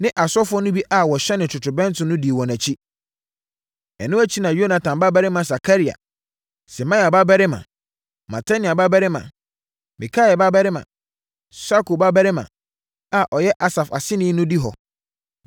ne asɔfoɔ no bi a wɔhyɛne totorobɛnto no dii wɔn akyi. Ɛno akyi na Yonatan babarima Sakaria, Semaia babarima, Matania babarima, Mikaia babarima, Sakur babarima a ɔyɛ Asaf aseni no di hɔ.